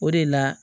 O de la